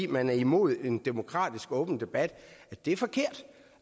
man er imod en demokratisk og åben debat er forkert